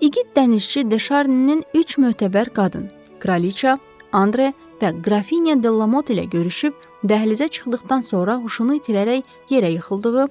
İgid dənizçi De Şarninin üç mötəbər qadın - Kraliçə, Andre və qrafinya De Lamot ilə görüşüb dəhlizə çıxdıqdan sonra huşunu itirərək yerə yıxıldığı,